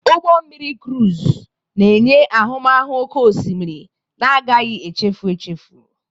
Ụgbọ mmiri krụz na-enye ahụmahụ oké osimiri na-agaghị echefu echefu.